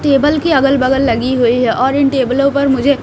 table के अगल-बगल लगी हुई है और इन टेबलों पर मुझे--